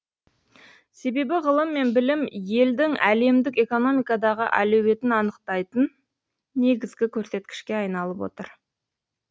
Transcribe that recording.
себебі ғылым мен білім елдің әлемдік экономикадағы әлеуетін анықтайтын негізгі көрсеткішке айналып отыр